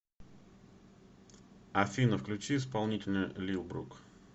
афина включи исполнителя лил брук